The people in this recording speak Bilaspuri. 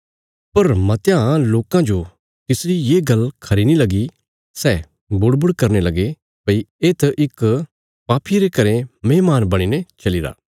पर मतयां लोकां जो तिसरी ये गल्ल खरी नीं लगी सै बुड़बुड़ करने लगे भई येत इक पापी ये रे घरें मेहमान बणीने चलीरा